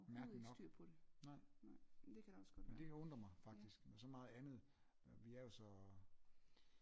Mærkeligt nok nej men det kan undre mig faktisk med så meget andet vi er jo så øh